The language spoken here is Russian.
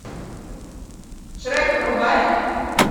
шрек врубай